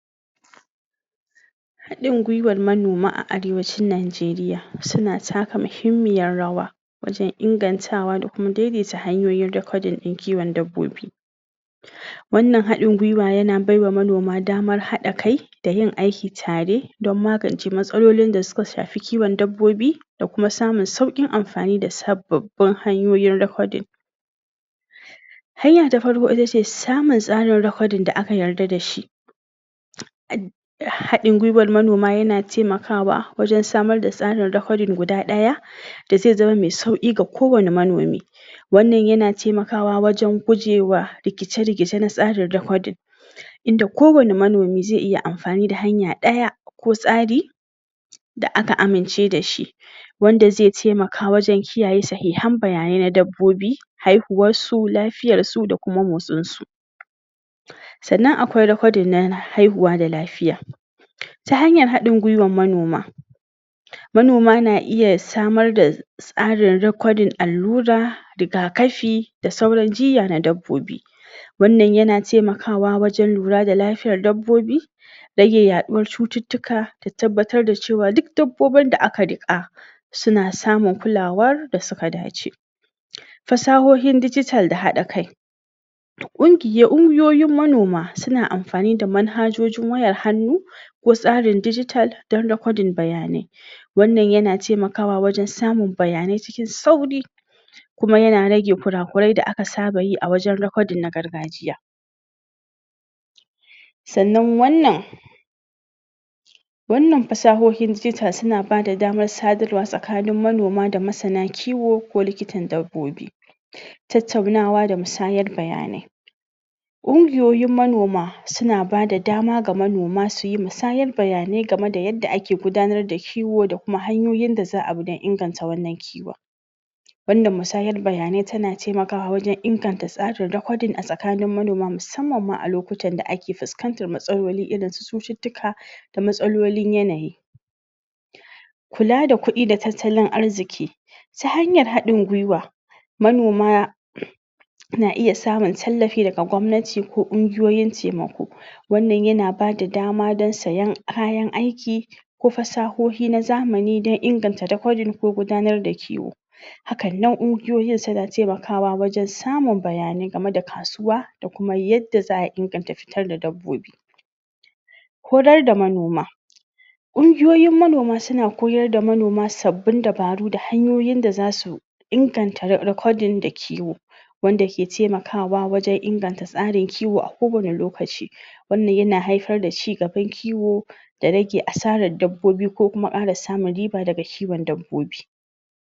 Hadin gwaiwan manoma a arewacin Najeriya suna taka mahimiyar rawa wajan ingantawa da kuma dai-daita hanyoyin rakodin din kiwan dabbobi wannan hadin gwaiwa yana bawa manoma damar hada kai da yin ayki tare dan magance matsalolin da suka shafi kiwan dabbobi domin samin saukin amfani da sababbin rakodin hanya ta farko ita ce samar da tsarin rakodin da aka yadda da shi hadin gwaiwat manoma yana taimakawa wajan samar da tsarin rakodin guda daya da da zai zama mai sauki ga kowani manomi Wnnan yana temakawa wajan gujewa rakice-rikice na tsarin rakodin inda kowani manomi zai yi amfani da hanya daya ko tsari da aka amince da shi wanda zai taimaka wajan kiyaye sahihan baya ne na dabbobi hahuwar su lafiyar su da kuma motsinsu sannan akwai rakodin na haihuwa da lafiya ta hanyar hadin guwar manoma manoma na iya samar dai tsarin rakodin allura riga kafi da sauran jinya na dabbobi wannan yana temakawa wan lura da lafiya na dabbobi rage yaduwar cutttuka da tabbatar da cewa duk dabbobin da aka rika suna samun kulawar da suka dace fasahohin dijital da hada kai kungiyoyin manoma suna amfani da manhajojin wayar hannu ko tsarin daijital dan rakwaodin baya ne wannan yana temakawa wajan samun baya ne cikin sauri kuma yana rage kurakure da saba yi a wajan rakodin na gargajiya sannan wannan wanna fa sabuwar dijital suna ba da damar sadarwa tsakanin manoma da masana kiwo ko likitan dabbobi tattaunawa da musayar baya ne kungiyoyin manoma suna bada dama ga manoma su yi masayar baya ne gamai da yadda ake gudanar da kiwo da kuma hanyyoyin da za a bi dan inganta kiwon wannan musayen bayane tana temakawa wajan inganta tsarin rakodin a tsakanin manoma musamman a lokacin da ake fiskantar matsaloli iirin su cututtuka da matsalolin yanayi kula da kudi da tattalin arziki ta hanyar hadin gwaiwa manoma manoma na iya samun tallafi daga gwamnati ko kungiyoyin temako wannan yana ba da dama sayan kayan ayki ko fasahohi na zamani dan inganta rakodin ko gudanar da kiwo hakanan kungiyoyin suna temakawa wajan samun bayane gamai da da kasuwa da yadda za a inganta fitar da dubbobi korar da manoma kungiyoyin manoma suna koyar da manoma sabbin dabaru da hanyoyin da za su inganta rakodin da kiwo wanda ke temakawa wan ingganta tsarin kiwo a kowani lokaci wannan yana haifar da cigaban kiwo da rage a sarar dabbobi ko kuma kara samun riba daga kiwan dabbobi